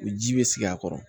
O ji bɛ sigi a kɔrɔ